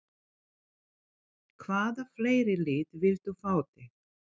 Hvaða fleiri lið vildu fá þig?